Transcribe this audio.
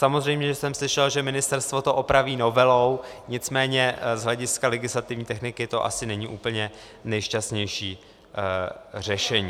Samozřejmě jsem slyšel, že ministerstvo to opraví novelou, nicméně z hlediska legislativní techniky to není asi úplně nejšťastnější řešení.